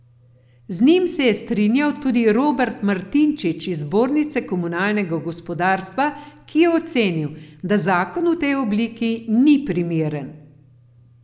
Z njim se je strinjal tudi Robert Martinčič iz Zbornice komunalnega gospodarstva, ki je ocenil, da zakon v tej obliki ni primeren.